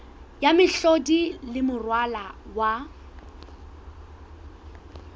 ya mehlodi le moralo wa